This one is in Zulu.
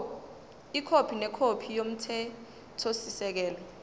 ikhophi nekhophi yomthethosisekelo